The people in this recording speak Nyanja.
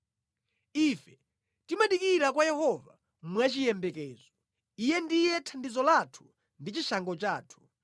Ife timadikira kwa Yehova mwachiyembekezo; Iye ndiye thandizo lathu ndi chishango chathu.